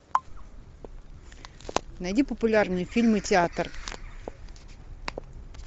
найди популярные фильмы театр